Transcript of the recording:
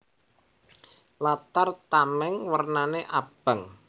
Latar tamèng wernané abang